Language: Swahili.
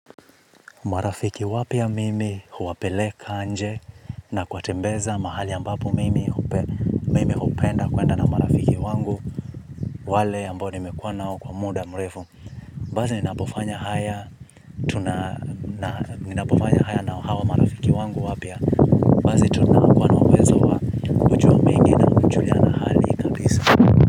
Marafiki wapya mimi huwapeleka nje na kuwatembeza mahali ambapo mimi hupenda kwenda na marafiki wangu, wale ambao nimekuwa nao kwa muda mrefu. Baazi ninapofanya haya nao hawa marafiki wangu wapya. Bazi tunakua nauwezo wa kujua mengi na kujuliana hali kabisa.